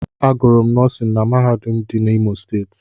Agụrụ m nọọsin na mahadum dị n'Imo Steeti.